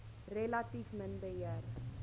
relatief min beheer